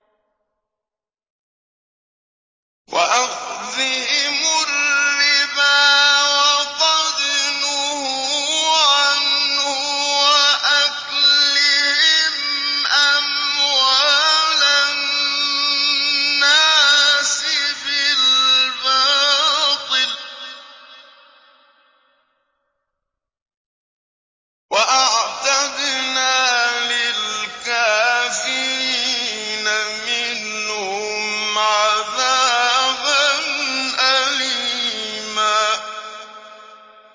وَأَخْذِهِمُ الرِّبَا وَقَدْ نُهُوا عَنْهُ وَأَكْلِهِمْ أَمْوَالَ النَّاسِ بِالْبَاطِلِ ۚ وَأَعْتَدْنَا لِلْكَافِرِينَ مِنْهُمْ عَذَابًا أَلِيمًا